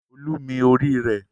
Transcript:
Olú mi orí rẹ̀.